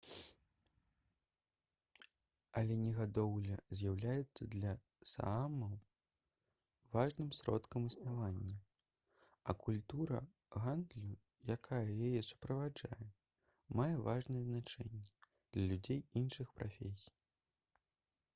аленегадоўля з'яўляецца для саамаў важным сродкам існавання а культура гандлю якая яе суправаджае мае важнае значэнне для людзей іншых прафесій